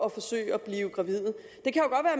at forsøge at blive gravid